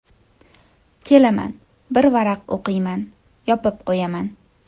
Kelaman, bir varaq o‘qiyman, yopib qo‘yaman.